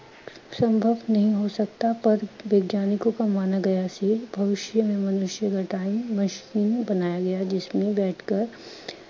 ਸੰਭਵ ਨਹੀ ਹੋ ਸਕਤਾ ਪਰ ਵਿਗਿਆਨਿਕੋਂ ਕਾ ਮਾਨਾ ਗਿਆ ਸੀ ਭਵੀਸ਼ਯ ਮੇਂ ਮਨੁਸ਼ਯ ਅਗਰ time machine ਬਨਾਏਗਾ ਜਿਸ ਮੇਂ ਬੈਠ ਕਰ